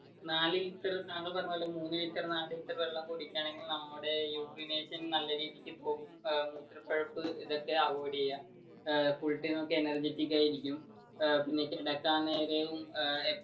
നാല് ലിറ്റർ താങ്കൾ പറഞ്ഞപോലെ മൂന്ന് ലിറ്റർ നാല് ലിറ്റർ വെള്ളം കുടിക്കുകയാണെങ്കിൽ നമ്മളുടെ urination നല്ല രീതിക് പോകും full time energetic ആയി ഇരിക്കും പിന്നെ കിടക്കാൻ നേരം ഏർ